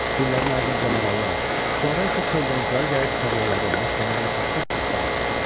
Fillərin ardınca marallar, sonra isə çöl donuzları gəlib tarlaları, bostanları tapdaq-tapdaq elədilər.